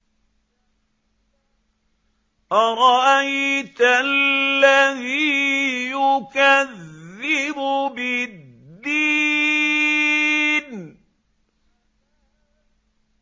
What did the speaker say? أَرَأَيْتَ الَّذِي يُكَذِّبُ بِالدِّينِ